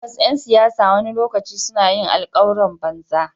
Tabbas ’yan siyasa wani lokaci suna yin alkawuran banza.